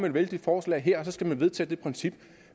et vældigt forslag her og så skal man vedtage det princip